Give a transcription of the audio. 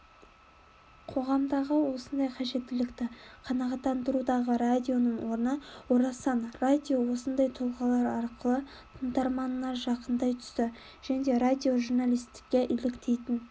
қоғамдағы осындай қажеттілікті қанағаттандырудағы радионың орны орасан радио осындай тұлғалар арқылы тыңдарманына жақындай түсті радиожурналистке еліктейтін